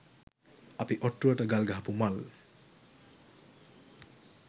අපි ඔට්ටුවට ගල් ගහපු මල්